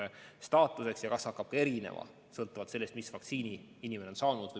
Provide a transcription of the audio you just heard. Ja siis saab ka selgeks, kas see aeg hakkab erinema sõltuvalt sellest, mis vaktsiini inimene on saanud.